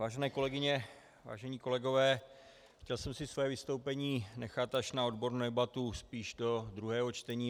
Vážené kolegyně, vážení kolegové, chtěl jsem si své vystoupení nechat až na odbornou debatu spíš do druhého čtení.